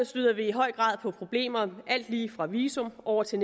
støder vi i høj grad på problemer alt lige fra visum og over til